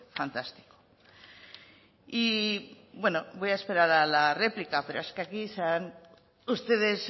fantástico y bueno voy a esperar a la réplica pero es que aquí ustedes